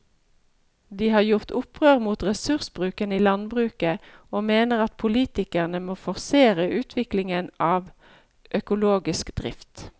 De har gjort opprør mot ressursbruken i landbruket og mener at politikerne må forsere utviklingen av økologisk drift.